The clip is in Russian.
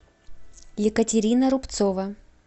екатерина рубцова